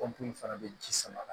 fana bɛ ji sama